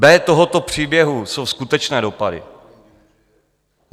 B tohoto příběhu jsou skutečné dopady.